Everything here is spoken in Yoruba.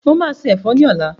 Mo máa sé ẹ̀fọ́ ni ọ̀la.